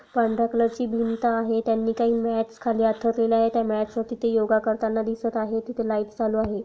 पांढर्‍या कलर ची भिंत आहे त्यांनी काही मॅट्स खाली अंथरलेल्या आहेत त्या मॅट्स वरती योगा करतांना दिसत आहेत तिथे लाइट्स चालू आहे.